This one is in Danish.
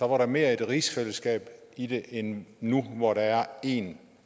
var der mere rigsfællesskab i det end nu hvor der er én